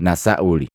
na Sauli.